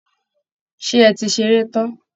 Ṣé ẹ ti ṣeré tán?